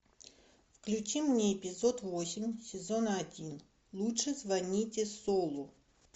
включи мне эпизод восемь сезона один лучше звоните солу